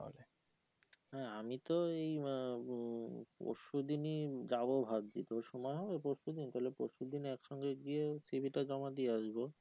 হ্যাঁ আমি তো এই আহ পরশু দিনই যাবো ভাবছি তোর সময় হবে পরশু দিন তাহলে পরশু দিন একসঙ্গে গিয়ে c. v. টা জমা দিয়ে আসবো